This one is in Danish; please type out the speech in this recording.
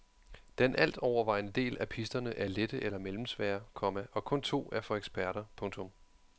Den alt overvejende del af pisterne er lette eller mellemsvære, komma og kun to er for eksperter. punktum